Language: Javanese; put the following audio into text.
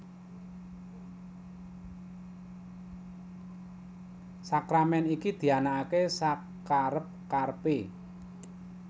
Sakramèn iki dianakaké sakerep kerepé